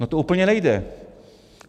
No to úplně nejde.